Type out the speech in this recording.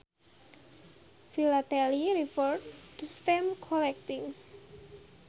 Philately refers to stamp collecting